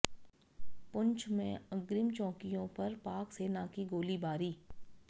पुंछ में अग्रिम चौकियों पर पाक सेना की गोलीबारी